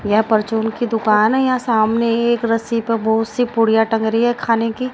यह परचून की दुकान है यहां सामने एक रस्सी पर बहुत सी पुड़िया टांग रही है खाने की--